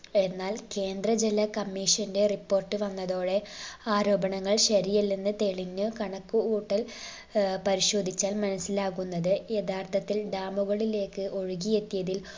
എന്നാൽ കേന്ദ്ര ജല commission ന്റെ report വന്നതോടെ ആരോപണങ്ങൾ ശരിയെല്ലെന്ന് തെളിഞ്ഞു. കണക്ക് കൂട്ടൽ ഏർ പരിശോധിച്ചാൽ മനസ്സിലാകുന്നത് യഥാർത്ഥത്തിൽ dam കളിലേക്ക് ഒഴുകിയെത്തിയതിൽ